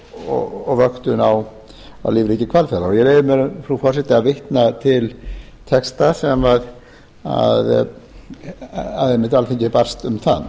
rannsóknir og vöktun á lífríki hvalfajrar ég leyfi mér frú forseti að vitna til texta sem alþingi einmitt barst um það